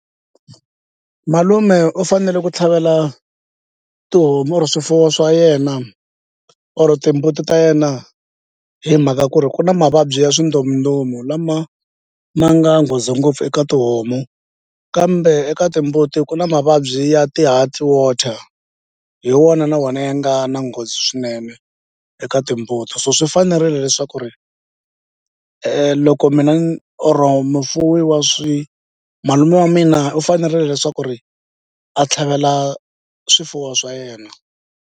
Malume u fanele ku tlhavela tihomu or swifuwo swa yena or timbuti ta yena hi mhaka ku ri ku na mavabyi ya swindzomundzomu lama ma nga nghozi ngopfu eka tihomu kambe eka timbuti ku na mavabyi ya ti-heart water hi wona na wona ya nga na nghozi swinene eka timbuti so swi fanerile leswaku ri loko mina or mufuwi wa swi malume wa mina u fanerile leswaku ri a tlhavela swifuwo swa yena.